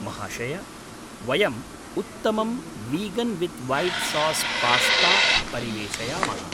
महाशय! वयम् उत्तमं vegan with white sauce pasta परिवेषयामः।